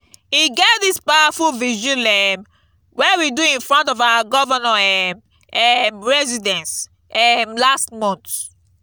e get dis powerful vigil um wey we do in front of our governor um um residence um last month